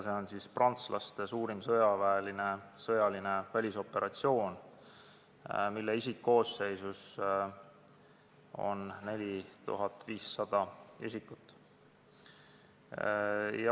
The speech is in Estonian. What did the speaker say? See on prantslaste suurim sõjaline välisoperatsioon, mille isikkoosseisus on 4500 isikut.